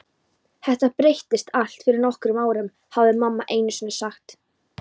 Þetta breyttist allt fyrir nokkrum árum, hafði mamma einusinni sagt.